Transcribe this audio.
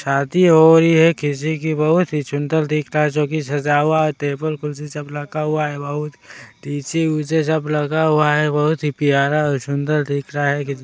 शादी हो रही है किसी बहुत ही सुन्दर दिख रहा है जो कि सजा हुआ टेबल कुर्सी सब रखा हुआ है बहुत टीसी-उसी सब लगा हुआ है बहुत ही प्यारा और सुन्दर दिख रहा।